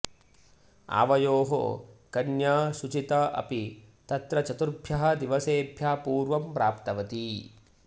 आवयोः कन्या शुचिता अपि तत्र चतुर्भ्यः दिवसेभ्यः पूर्वं प्राप्तवती